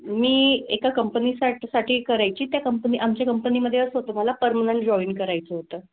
मी एका company साठी साठी करायची त्या company आमच्या company मधे असं होतं मला permanent job करायचं होतं.